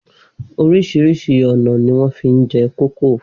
Oríṣiríṣi ọ̀nà ni wọ́n fi ń jẹ kókò.